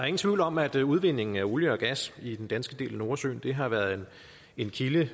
ingen tvivl om at udvindingen af olie og gas i den danske del af nordsøen har været en kilde